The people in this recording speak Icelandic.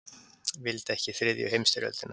Vildi ekki þriðju heimsstyrjöldina